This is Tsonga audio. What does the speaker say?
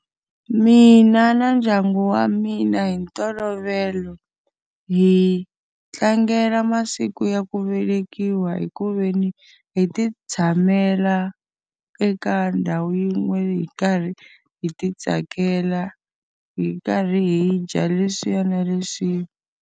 Mina na ndyangu wa mina hi ntolovelo, hi tlangela masiku ya ku velekiwa hi ku ve ni, hi ti tshamela eka ndhawu yin'we hi karhi hi ti tsakela hi karhi hi dya leswiya na leswiya.